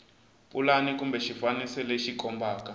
pulani kumbe xifaniso lexi kombaka